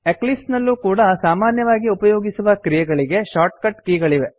Eclipse ನಲ್ಲೂ ಕೂಡಾ ಸಾಮಾನ್ಯವಾಗಿ ಉಪಯೋಗಿಸುವ ಕ್ರಿಯೆಗಳಿಗೆ ಶಾರ್ಟ್ಕಟ್ ಕೆ ಗಳಿವೆ